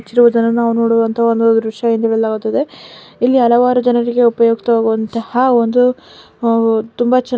ನಾವು ನೋಡುವಂತಹ ಒಂದು ದೃಶ್ಯ ಎಂದು ಹೇಳಾಗುತ್ತದೆ ಇಲ್ಲಿ ಹಲವಾರು ಜನರಿಗೆ ಉಪಯುಕ್ತವಾಗುವಂತಹ ಒಂದು ಆಹ್ ತುಂಬಾ ಚೆನ್ನಾ--